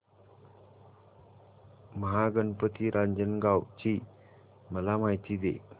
महागणपती रांजणगाव ची मला माहिती दे